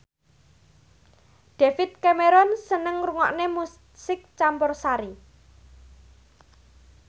David Cameron seneng ngrungokne musik campursari